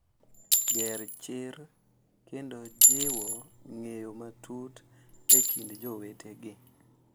Ger chir kendo jiwo ng’eyo matut e kind jowetegi.